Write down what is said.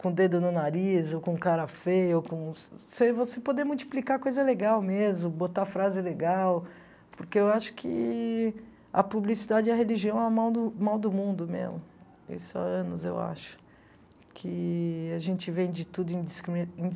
com o dedo no nariz ou com cara feia, ou com você você poder multiplicar coisa legal mesmo, botar frase legal, porque eu acho que a publicidade e a religião é o mal do mal do mundo mesmo, isso há anos eu acho, que a gente vende tudo indiscrimi indi